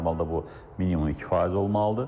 Normalda bu minimum 2 faiz olmalıdır.